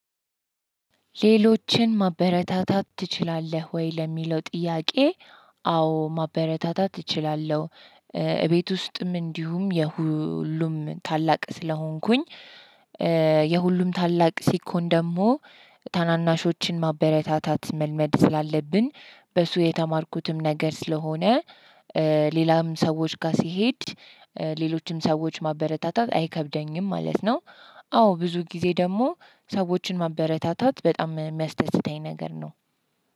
ሌሎችን ማበረታታት ትችላለህ ወይ ለሚለው ጥያቄ? አዎ ማበረታታት እችላለሁ። እቤት ውስጥም እንዲሁም የሁሉም ታላቅ ስለሆንኩኝ። የሁሉም ታላቅ ሲኮን ደግሞ ታናናሾችን ማበረታታት መልመድ ስላለብን በሱ የተማርኩትም ነገር ስለሆነ። ሌላም ሰዎች ጋር ሲሄድ ሌሎችም ሰዎች ማበረታታት አይከብደኝም ማለት ነው። አዎ ብዙ ጊዜ ደግሞ ሰዎችን ማበረታታት በጣም የሚያስደስተኝ ነገር ነው።